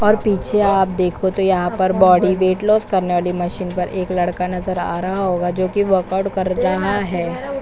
और पीछे आप देखो तो यहाँ पर बॉडी वेट लॉस करने वाली मशीन पर एक लड़का नजर आ रहा होगा जो की वर्क आउट कर रहा है।